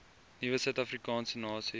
nuwe suidafrikaanse nasie